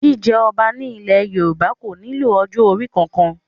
Jíjẹ ọba ní ilẹ̀ Yorùbá kò nílò ọjọ́ orí kankan